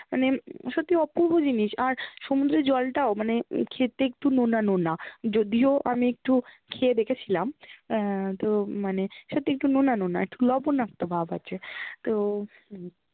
মানে সত্যি অপুর্ব জিনিস আর সমুদ্রের জলটা-ও, মানে খেতে একটু নোনা-নোনা, য্দিও আমি একটু খেয়ে দেখেছিলাম আহ তো মানে সত্যি একটু নোনা-নোনা একটু লবণাক্ত ভাব আছে, তো